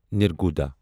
نرگوڑا